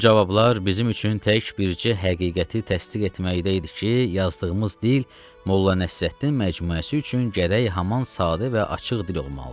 Bu cavablar bizim üçün tək bircə həqiqəti təsdiq etməkdə idi ki, yazdığımız dil Molla Nəsrəddin məcmuəsi üçün gərək haman sadə və açıq dil olmalıdır.